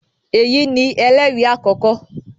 Eyi ni ẹlẹri akọkọ.